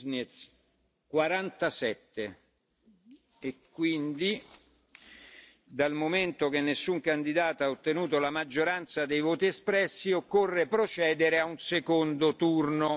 Sig. Nils MUIŽNIEKS 47 voti E quindi, dal momento che nessun candidato ha ottenuto la maggioranza dei voti espressi, occorre procedere a un secondo turno.